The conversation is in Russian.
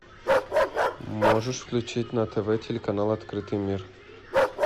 можешь включить на тв телеканал открытый мир